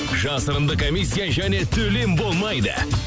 жасырынды комиссия және төлем болмайды